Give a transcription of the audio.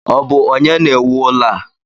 Ọ bụ onye na-ewu ụlọ a?